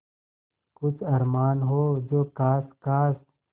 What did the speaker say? कुछ अरमान हो जो ख़ास ख़ास